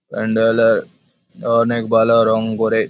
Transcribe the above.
প্যান্ডেলে অনেক ভালো রং করে।